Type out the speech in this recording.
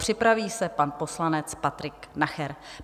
Připraví se pan poslanec Patrik Nacher.